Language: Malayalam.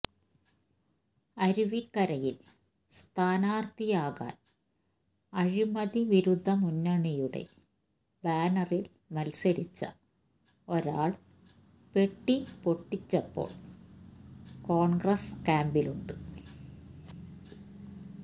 അരുവിക്കരയിൽ സ്ഥാനാർത്ഥിയാകാൻ അഴിമതി വിരുദ്ധ മുന്നണിയുടെ ബാനറിൽ മത്സരിച്ച ഒരാൾ പെട്ടി പൊട്ടിച്ചപ്പോൾ കോൺഗ്രസ് ക്യാമ്പിലുണ്ട്